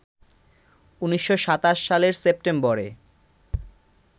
১৯২৭ সালের সেপ্টেম্বরে